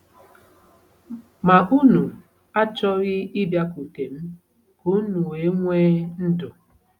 Ma unu achọghị ịbịakwute m ka unu wee nwee ndụ. ”